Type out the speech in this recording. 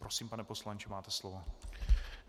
Prosím, pane poslanče, máte slovo.